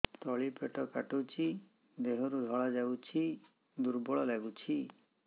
ତଳି ପେଟ କାଟୁଚି ଦେହରୁ ଧଳା ଯାଉଛି ଦୁର୍ବଳ ଲାଗୁଛି